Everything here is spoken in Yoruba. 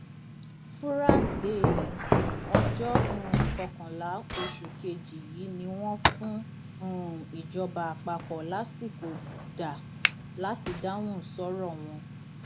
fúrádéé ọjọ um kọkànlá oṣù kejì yìí ni wọn fún um ìjọba àpapọ lásìkò dá láti dáhùn sọrọ wọn